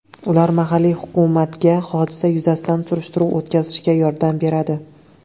Ular mahalliy hukumatga hodisa yuzasidan surishtiruv o‘tkazishga yordam beradi.